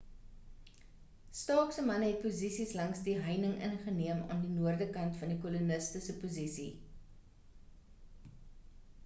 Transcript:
stark se manne het posisies langs die heining ingeneem aan die noordekant van die koloniste se posisie